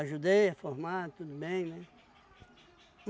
a formar, tudo bem, né?